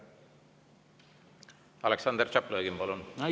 Aleksandr Tšaplõgin, palun!